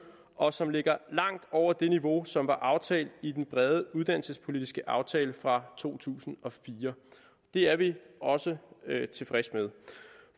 og som ligger langt over det niveau som var aftalt i den brede uddannelsespolitiske aftale fra to tusind og fire det er vi også tilfredse med